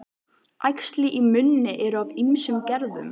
Æxli í munni eru af ýmsum gerðum.